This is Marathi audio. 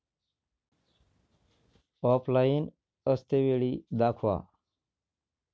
ऑफलाइन असतेवेळी दाखवा